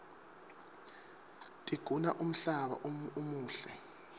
tiguna umhlaba umuhle